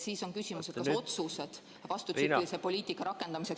Siis on küsimus, kas otsused vastupidise poliitika rakendamiseks ...